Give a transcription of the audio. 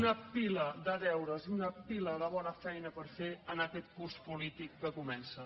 una pila de deures i una pila de bona feina per fer en aquest curs polític que comença